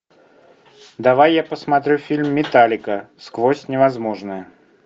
давай я посмотрю фильм металлика сквозь невозможное